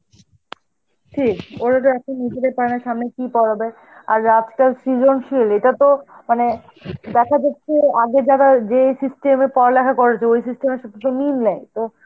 সেই, ওরা তো এখন , কি পড়াবে? আর আজকাল সৃজনশীল, এটাতো মানে দেখা যাচ্ছে আগে যারা যেই system এ পড়ালেখা করেছে, ওই system এর সাথে তো মিল নেই, তো